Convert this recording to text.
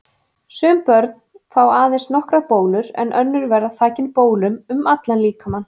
Sum börn fá aðeins nokkrar bólur en önnur verða þakin bólum um allan líkamann.